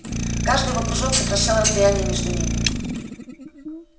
каждый его прыжок сокращал расстояние между ними